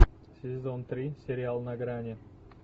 сезон три сериал на грани